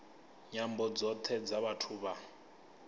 nyambo dzothe dza vhathu vha